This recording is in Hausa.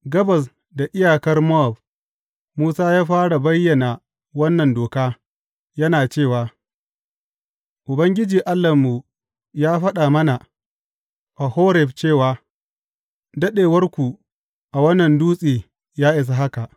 Gabas da iyakar Mowab, Musa ya fara bayyana wannan doka, yana cewa, Ubangiji Allahnmu ya faɗa mana a Horeb cewa, Daɗewarku a wannan dutse ya isa haka.